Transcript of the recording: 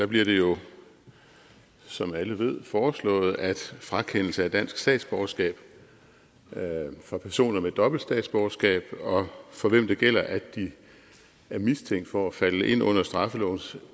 bliver det jo som alle ved foreslået at frakendelse af dansk statsborgerskab for personer med dobbelt statsborgerskab og for hvem det gælder at de er mistænkt for at falde ind under straffelovens